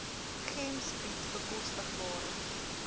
gems bied bekostigbare